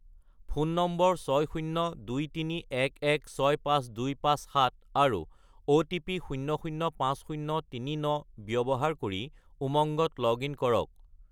Phone নম্বৰ 60231165257 আৰু OTP 005039 ব্যৱহাৰ কৰি উমংগত লগ-ইন কৰক।